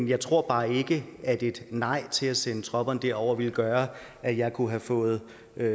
jeg tror bare ikke at et nej til at sende tropperne derover ville gøre at jeg kunne have fået